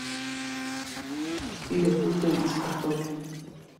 четыре блюда из картофеля